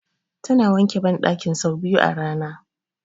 Tana wanke banɗakin sau biyu a rana